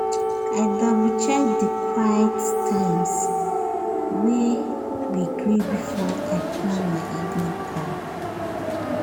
i double-check the quiet times wey we gree before i plan my evening call.